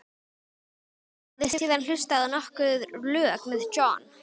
Hann hafði síðan hlustað á nokkur lög með John